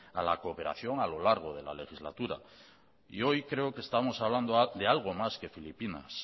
a la cooperación a lo largo de la legislatura y hoy creo que estamos hablando de algo más que filipinas